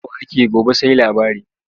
Yau ake gobe sai labari.